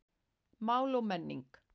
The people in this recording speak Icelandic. Mál og menning